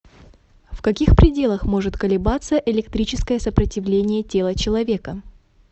в каких пределах может колебаться электрическое сопротивление тела человека